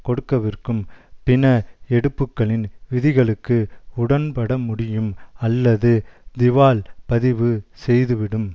கொடுக்கவிருக்கும் பிண எடுப்புக்களின் விதிகளுக்கு உடன்பட முடியும் அல்லது திவால் பதிவு செய்துவிடும்